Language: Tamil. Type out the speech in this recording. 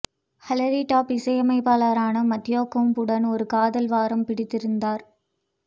ஹிலாரி டஃப் இசையமைப்பாளரான மத்தேயு கோம் உடன் ஒரு காதல் வாரம் பிடித்திருந்தார்